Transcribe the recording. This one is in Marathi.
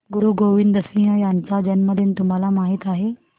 गुरु गोविंद सिंह यांचा जन्मदिन तुम्हाला माहित आहे